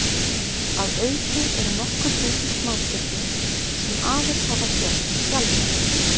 Að auki eru nokkur þúsund smástirni sem aðeins hafa sést sjaldan.